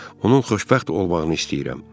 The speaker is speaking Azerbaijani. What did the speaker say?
Onun xoşbəxt olmağını istəyirəm.